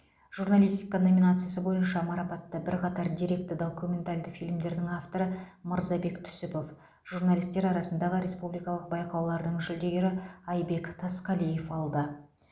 журналистика номинациясы бойынша марапатты бірқатар деректі документалды фильмдердің авторы мырзабек түсіпов журналистер арасындағы республикалық байқаулардың жүлдегері айбек тасқалиев алды